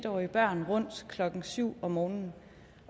årige børn rundt klokken syv om morgenen